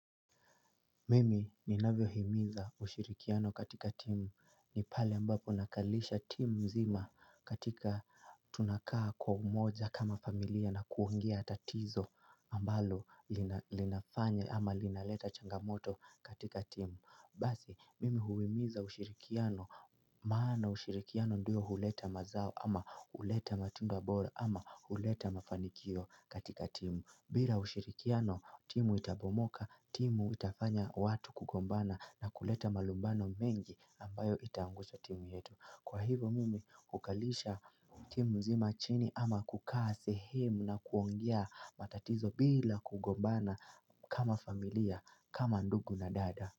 Mimi ninavyo himiza ushirikiano katika timu ni pale ambapo nakalisha timu mzima katika tunakaa kwa umoja kama familia na kuongea tatizo ambalo linafanya ama linaleta changamoto katika timu Basi mimi huhimiza ushirikiano maana ushirikiano ndio huleta mazao ama huleta matunda bora ama huleta mafanikio katika timu bila ushirikiano timu itabomoka, timu itafanya watu kugombana na kuleta malumbano mengi ambayo itaangusha timu yetu Kwa hivo mimi hukalisha timu mzima chini ama kukaa sehemu na kuongea matatizo bila kugombana kama familia kama ndugu na dada.